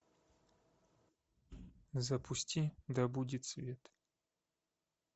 запусти да будет свет